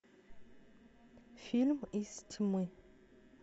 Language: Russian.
фильм из тьмы